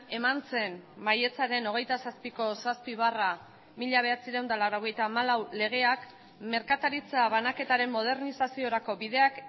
eman zen maiatzaren hogeita zazpiko zazpi barra mila bederatziehun eta laurogeita hamalau legeak merkataritza banaketaren modernizaziorako bideak